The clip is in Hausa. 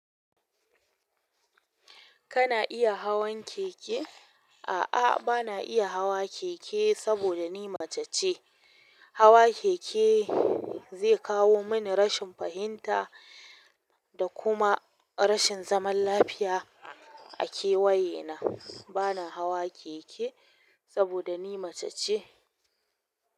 Kana iya hawan keke? A'a, bana iya hawa keke saboda ni mace ce. Hawa keke zai kawo mani rashin fahinta da kuma rashin zaman lafiya a kewaye na bana hawa keke saboda ni mace ce.